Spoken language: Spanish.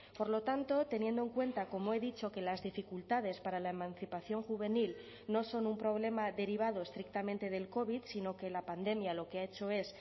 por lo tanto teniendo en cuenta como he dicho que las dificultades para la emancipación juvenil no son un problema derivado estrictamente del covid sino que la pandemia lo que ha hecho es